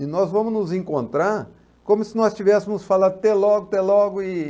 E nós vamos nos encontrar como se nós tivéssemos falado até logo, até logo. E...